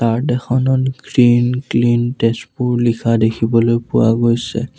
Card এখনত green clean Tezpur লিখা দেখিবলৈ পোৱা গৈছে।